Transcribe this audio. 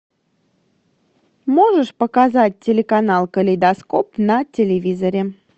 можешь показать телеканал калейдоскоп на телевизоре